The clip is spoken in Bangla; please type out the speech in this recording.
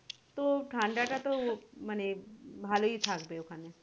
তো ঠাণ্ডা টা তো মানে ভালোই থাকবে ওখানে